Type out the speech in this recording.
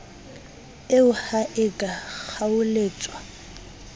eo ha e ka kgaoletswa